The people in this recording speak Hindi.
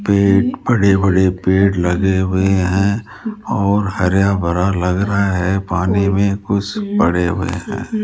पेड़ बड़े-बड़े पेड़ लगे हुए है और हरा-भरा लग रहा है पानी में कुछ पड़े हुए है।